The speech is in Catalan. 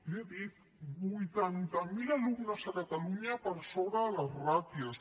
li ho he dit vuitanta miler alumnes a catalunya per sobre de les ràtios